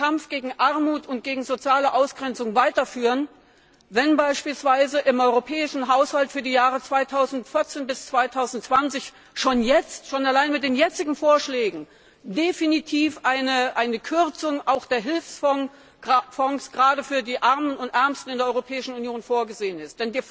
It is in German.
B. künftig den Kampf gegen Armut und soziale Ausgrenzung weiterführen soll, wenn beispielsweise im europäischen Haushalt für die Jahre 2014 bis 2020 schon allein mit den jetzigen Vorschlägen definitiv eine Kürzung bei den Hilfsfonds gerade für die Armen und Ärmsten in der Europäischen Union vorgesehen ist.